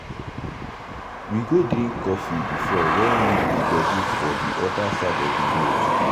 we go drink coffee before when we the gbedu for the other side of the road.